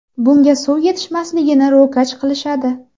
Bunga suv yetishmasligini ro‘kach qilishadi.